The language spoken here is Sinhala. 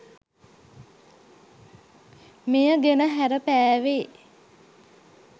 මෙය ගෙන හැරපෑවේ